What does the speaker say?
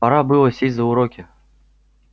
пора было сесть за уроки